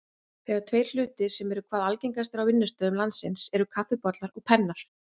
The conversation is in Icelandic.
Þeir tveir hlutir sem eru hvað algengastir á vinnustöðum landsins eru kaffibollar og pennar.